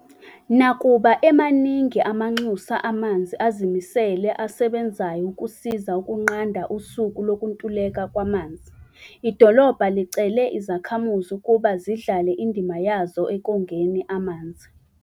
Nakuba emaningi amanxusa amanzi azimisele asebenzayo ukusiza ukunqanda usuku lokuntuleka kwamanzi, idolobha licele izakhamuzi ukuba zidlale indima yazo ekongeni amanzi.